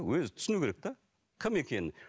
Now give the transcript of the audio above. өзі түсінуі керек те кім екенін